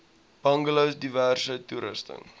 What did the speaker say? bungalows diverse toerusting